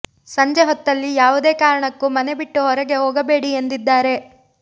ಸಂಜೆ ಹೊತ್ತಲ್ಲಿ ಯಾವುದೇ ಕಾರಣಕ್ಕೂ ಮನೆ ಬಿಟ್ಟು ಹೊರಗೆ ಹೋಗಬೇಡಿ ಎಂದಿದ್ದಾರೆ